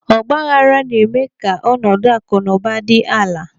Ọgbaaghara na-eme ka ọnọdụ akụ na ụba dị ala.